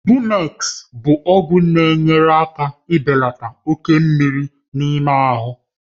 Bumex bụ ọgwụ na-enyere aka ibelata oke mmiri n'ime ahụ.